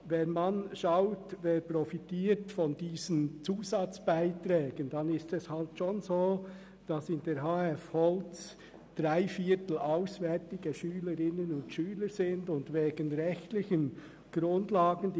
Wenn man schaut, wer von diesen Zusatzbeiträgen profitiert, sieht man, dass drei Viertel der Schülerinnen und Schüler der HF Holz nicht aus dem Kanton Bern kommen.